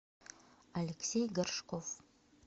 алексей горшков